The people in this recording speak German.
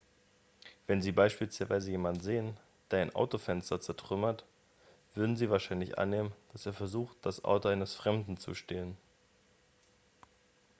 wenn sie beispielsweise jemanden sehen der ein autofenster zertrümmert würden sie wahrscheinlich annehmen dass er versucht das auto eines fremden zu stehlen